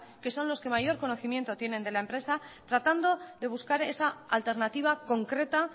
que son los que mayor conocimiento tienen de la empresa tratando de buscar esa alternativa concreta